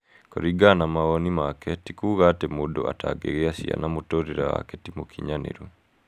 Kũringana na mawoni make, ti kuuga atĩ mũndũ ataangĩgĩa ciana mũtũũrĩre wake ti mũkinyanĩru.